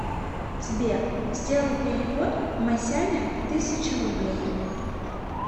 сбер сделай перевод масяня тысяча рублей